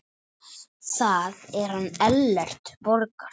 Það er hann Ellert Borgar.